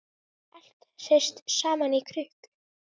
Allt hrist saman í krukku.